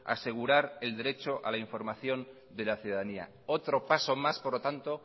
asegurar el derecho a la información de la ciudadanía otro paso más por lo tanto